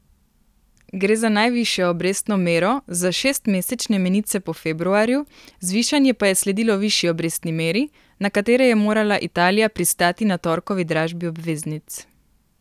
Gre za najvišjo obrestno mero za šestmesečne menice po februarju, zvišanje pa je sledilo višji obrestni meri, na katere je morala Italija pristati na torkovi dražbi obveznic.